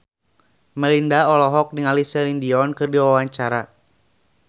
Melinda olohok ningali Celine Dion keur diwawancara